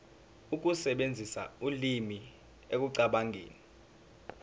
ukusebenzisa ulimi ekucabangeni